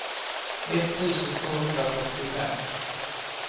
etttusen tvåhundrafyrtiofem